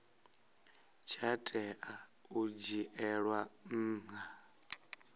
tsha tea u dzhielwa nha